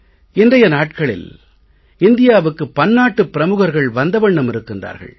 இன்றைய நாட்களில் இந்தியாவுக்கு பன்னாட்டு பிரமுகர்கள் வந்த வண்ணம் இருக்கின்றார்கள்